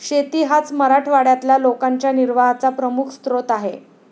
शेती हाच मराठवाड्यातल्या लोकांच्या निर्वाहाचा प्रमुख स्रोत आहे.